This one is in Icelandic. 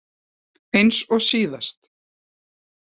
Eins og síðast?